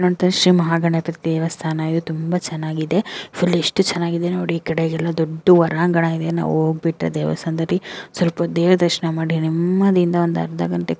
ಶ್ರೀ ಮಹಾಗಣಪತಿ ದೇವಸ್ಥಾನ ಇದೆ ತುಂಬಾ ಚೆನ್ನಾಗಿದೆ ಫುಲ್ ಎಷ್ಟು ಚೆನ್ನಾಗಿದೆ ನೋಡಿ ಈ ಕಡೆಗೆಲ್ಲಾ ದೊಡ್ಡ ಒರಾಂಗಣ ಇದೆ ನಾವು ಹೋಗ ಬಿಟ್ಟೆ ದೇವಸ್ಥಾನದಲ್ಲಿ ಸ್ವಲ್ಪ ದೇವ್ರ ದರ್ಶನ ಮಾಡಿ ನೆಮ್ಮದಿಯಿಂದ ಒಂದ ಅರ್ಧ ಗಂಟೆ --